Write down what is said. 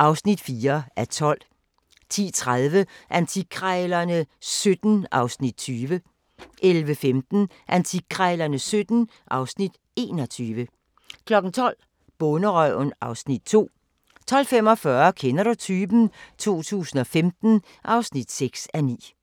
(4:12)* 10:30: Antikkrejlerne XVII (Afs. 20) 11:15: Antikkrejlerne XVII (Afs. 21) 12:00: Bonderøven (Afs. 2) 12:45: Kender du typen? 2015 (6:9)